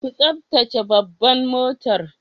Ku taftace babban motar.